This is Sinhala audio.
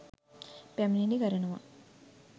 පැමිණිලි කරනවා.